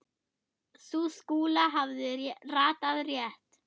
Sú kúla hafði ratað rétt.